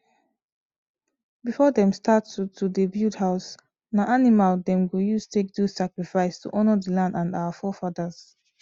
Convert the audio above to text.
before them start to to dey build house na animal them go use take do sacrifice to honour the land and our forefathers